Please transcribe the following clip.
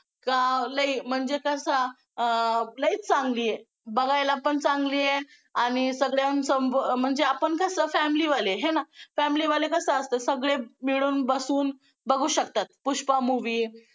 का लई म्हणजे कसा लई चांगली आहे बघायला पण चांगली आहे आणि सगळ्यांचं म्हणजे आपण कसं family वाले आहे ना family वाले कसं असं सगळे मिळून बसून बघू शकतात पुष्पा movie